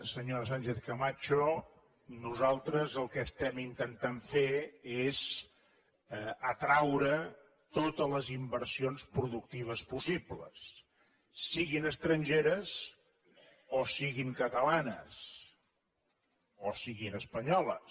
senyora sánchez camacho nosaltres el que estem intentant fer és atraure totes les inversions productives possibles siguin estrangeres o siguin catalanes o siguin espanyoles